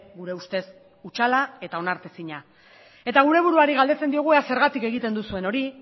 gure ustez hutsala eta onartezina eta gure buruari galdetzen diogu ea zergatik egiten duzuen hori